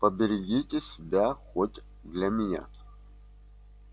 поберегите себя хоть для меня